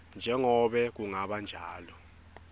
njengobe kungaba njalo